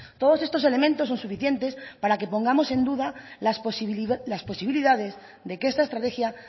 todos estos elementos son suficientes para que pongamos en duda las posibilidades de que esta estrategia